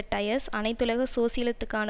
டயஸ் அனைத்துலக சோசியலித்துக்கான